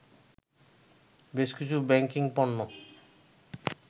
বেশকিছু ব্যাংকিং পণ্য